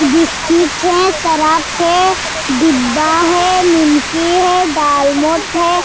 Biscuit है Surf है डिब्बा है निमकी है दालमोट है।